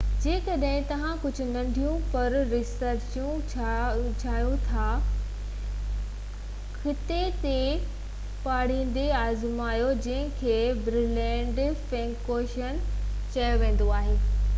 جيڪڏھن توھان ڪجهه ننڍيون پر رچ پيسٽريون چاهيو ٿا خطي تي ڀاڙيندي آزمايو جن کي برلينر فينڪوچين ريفپين چيو ويندو آهي